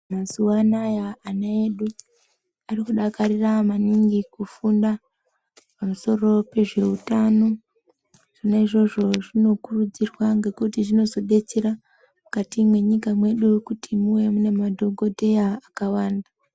Mazuvana ana edu anodakarira maninji kufunda pamusoro pezveutano zvona izvozvo zvinokurudzirwa ngekuti zvinozodetsera mukati mwenyika yedu kuti muve mune madhokodheya akawanda.